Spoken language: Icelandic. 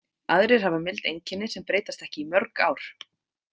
Aðrir hafa mild einkenni sem breytast ekki í mörg ár.